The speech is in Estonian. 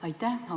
Aitäh!